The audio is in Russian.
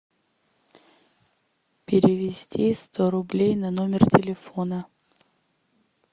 перевести сто рублей на номер телефона